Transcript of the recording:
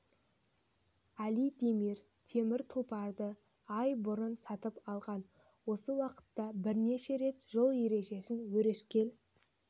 али демир темір тұлпарды ай бұрын сатып алған осы уақытта бірнеше рет жол ережесін өрескел